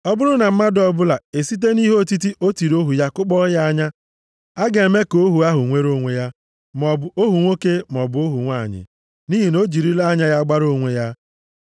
“Ọ bụrụ na mmadụ ọbụla esite nʼihe otiti o tiri ohu ya kụkpọọ ya anya, a ga-eme ka ohu ahụ nwere onwe ya, maọbụ ohu nwoke maọbụ ohu nwanyị, nʼihi na o jirila anya ya gbara onwe ya.